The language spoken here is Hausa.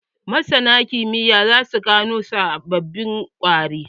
Masanan kimiyya za su gano sababbin ƙwari.